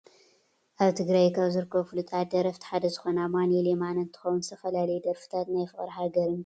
ኣብ ትግራይ ካብ ዝርከቡ ፍሉጣት ደረፍቲ ሓደ ዝኮነ ኣማኒኤል የማነ እንትከውን ዝተፈላለዩ ደርፍታት ናይ ፍቅርን ሃገርን ከም ዝደርፍ ትፈልጡ ዶ ?